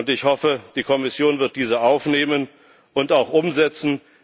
Ich hoffe, die Kommission wird diese aufnehmen und auch umsetzen.